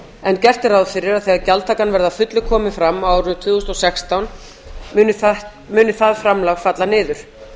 en gert er ráð fyrir að þegar gjaldtakan verði að fullu komin fram á árinu tvö þúsund og sextán muni það framlag falla niður